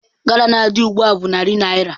Gala na-adị ugbu a bụ narị naira.